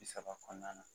Bi saba kɔnɔna na